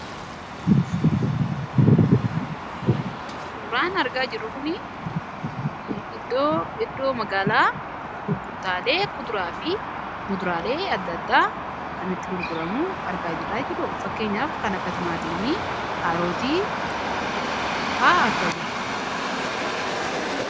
Suuraan argaa jirru kun iddoo magaalaa gurgurtaalee kuduraa fi muduraalee adda addaa kan itti gurguramuu argaa jirraa. Fakkeenyaaf kan akka timaatimii, kaarootii fa'a argaa jirra.